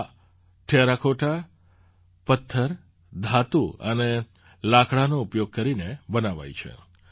આ ટેરાકૉટા પથ્થર ધાતુ અને લાકડાનો ઉપયોગ કરીને બનાવાઈ છે